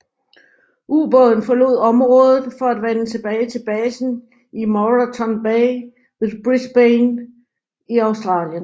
Ubåden forlod området for at vende tilbage til basen i Moreton Bay ved Brisbane i Australien